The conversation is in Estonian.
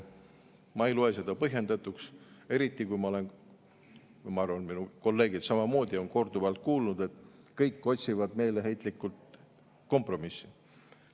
Ma ei loe seda põhjendatuks, eriti kui ma olen kuulnud ja ma arvan, et kolleegid samamoodi on korduvalt kuulnud, et kõik otsivad meeleheitlikult kompromissi.